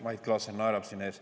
Mait Klaassen naerab siin ees.